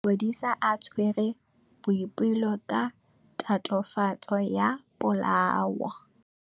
Maphodisa a tshwere Boipelo ka tatofatsô ya polaô.